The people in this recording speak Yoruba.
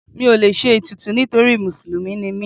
Mi ò lè ṣe ètùtù nítorí Mùsùlùmí ni mí.